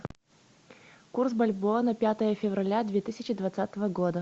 курс бальбоа на пятое февраля две тысячи двадцатого года